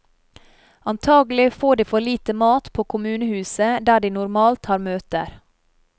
Antagelig får de for lite mat på kommunehuset der de normalt har møter.